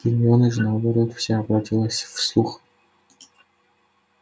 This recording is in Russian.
гермиона же наоборот вся обратилась в слух